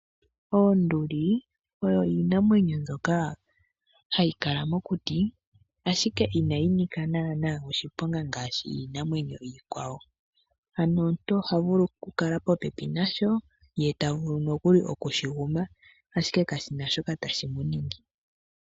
Oonduli oyo iinamwenyo mbyoka hayi kala mokuti, ashike inayi nika naana oshiponga ngaashi iinamwenyo iikwawo. Ano omuntu oha vulu okukala popepi nasho, ye tavulu nokuli okushiguma ashike kashina shoka tashi muningi.